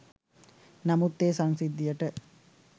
නමුත් ඒ සංසිද්ධියට